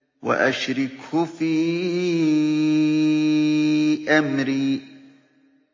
وَأَشْرِكْهُ فِي أَمْرِي